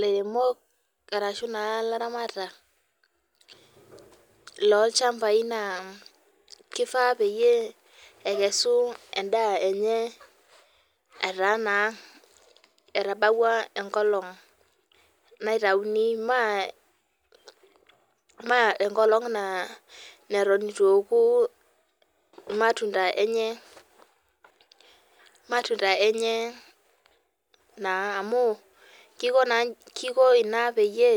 Lairemok ashu laramatak lolchambai nakifaa pekesu endaa emye ataa etabawua enkolong naitauni maa enkolong nitu eoku irmatunda lenye naa amu kiko ina peyie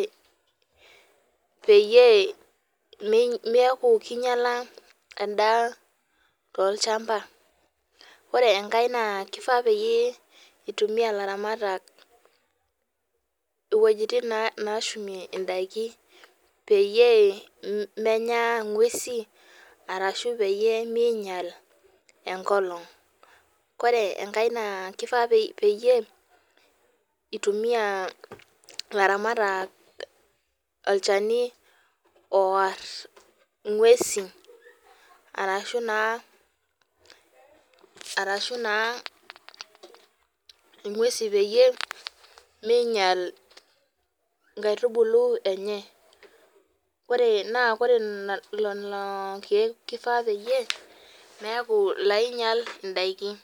keaku kinyala endaa tolchamba ore enkae na kifaa pitumia laramatak wueji tin nashumie ndakini peyie menya ngwesi ashu peyie minyel enkolong ore enkae nakifaa pitumia laramatak olchani ooar ngwesi arashu naa arashu na ngwesi peyie minyal nkaitubulu enye naore lolokiek kifaa peyie meaku lainyal ndakini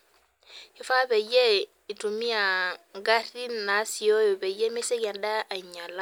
kifaa pitumia ngarin nasioyo pemisieki endaa ainyala.